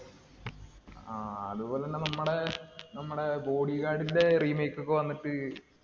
ങ്ഹാ അതുപോലെ തന്നെ നമ്മുടെ, നമ്മുടെ ബോഡി ഗാര്‍ഡിന്‍റെ remake ഒക്കെ വന്നിട്ട്